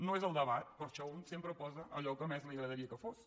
no és el debat per això un sempre posa allò que més li agradaria que fos